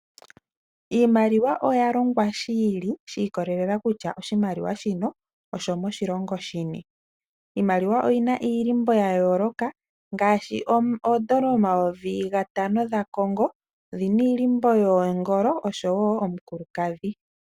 Iimaliwa oya longwa shi ili shi ikololela kutya oshimaliwa shino osho moshilongo shini, iimaliwa oyi na iilimbo ya yooloka ngaashi oondola omayovi gatano dha Congo odhina iilimbo yoongolo oshowo omukulukadhi.